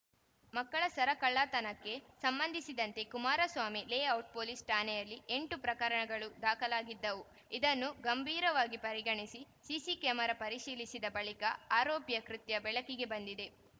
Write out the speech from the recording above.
ಮಕ್ಕಳ ಸರ ಕಳ್ಳತನಕ್ಕೆ ಸಂಬಂಧಿಸಿದಂತೆ ಕುಮಾರಸ್ವಾಮಿ ಲೇಔಟ್‌ ಪೊಲೀಸ್‌ ಠಾಣೆಯಲ್ಲಿ ಎಂಟು ಪ್ರಕರಣಗಳು ದಾಖಲಾಗಿದ್ದವು ಇದನ್ನು ಗಂಭೀರವಾಗಿ ಪರಿಗಣಿಸಿ ಸಿಸಿ ಕ್ಯಾಮೆರಾ ಪರಿಶೀಲಿಸಿದ ಬಳಿಕ ಆರೋಪಿಯ ಕೃತ್ಯ ಬೆಳಕಿಗೆ ಬಂದಿದೆ